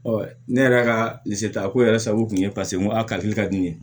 ne yɛrɛ ka ta ko yɛrɛ sago kun ye paseke nko a kadi ka di ne ye